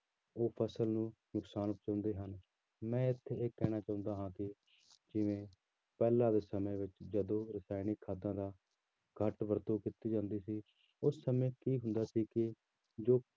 ਉਹ ਫ਼ਸਲ ਨੂੰ ਨੁਕਸਾਨ ਪਹੁੰਚਾਉਂਦੇ ਹਨ, ਮੈਂ ਇੱਥੇ ਇਹ ਕਹਿਣਾ ਚਾਹੁੰਦਾ ਹਾਂ ਕਿ ਜਿਵੇਂ ਪਹਿਲਾਂ ਦੇ ਸਮੇਂ ਵਿੱਚ ਜਦੋਂ ਰਸਾਇਣਿਕ ਖਾਦਾਂ ਦਾ ਘੱਟ ਵਰਤੋਂ ਕੀਤੀ ਜਾਂਦੀ ਸੀ, ਉਸ ਸਮੇਂ ਕੀ ਹੁੰਦਾ ਸੀ ਕਿ ਜੋ